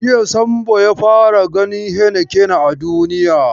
Jiya Sambo ya fara ganin heinekena a duniya.